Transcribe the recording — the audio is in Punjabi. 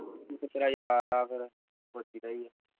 ਇਕ ਤੇਰਾ ਯਾਰ ਆ ਫਿਰ ਸੋਚੀਦਾ ਈ